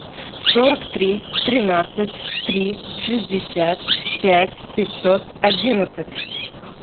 сорок три тринадцать три шестьдесят пять пятьсот одиннадцать